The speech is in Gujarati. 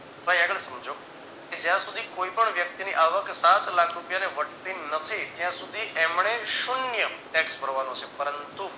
ભાઈ આગળ સમજો કે જ્યાં સુધી કોઈ પણ વ્યક્તિની આવક સાત લાખ રૂપિયાને વટતી નથી ત્યાં સુધી એમને શુન્ય tax ભરવાનો છે પરંતુ